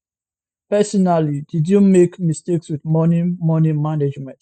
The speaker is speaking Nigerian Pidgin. personally did you make mistakes wit money money management